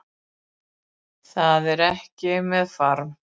Það er ekki með farm